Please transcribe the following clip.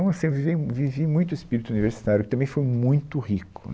Então, assim, eu viviei, vivi muito o espírito universitário, que também foi muito rico